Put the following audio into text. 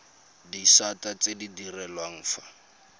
disata tse di direlwang fa